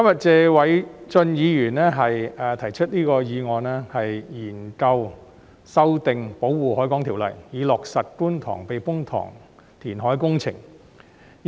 謝偉俊議員今天提出"研究修訂《保護海港條例》及落實觀塘避風塘填海工程"的議案。